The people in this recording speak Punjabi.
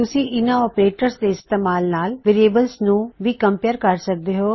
ਤੁਸੀਂ ਇਨ੍ਹਾ ਆਪਰੇਟਰਸ ਦੇ ਇਸਤੇਮਾਲ ਨਾਲ ਵੇਅਰਿਏਬਲਸ ਨੂੰ ਵੀ ਕਮਪੇਰ ਕਰ ਸਕਦੇ ਹੋ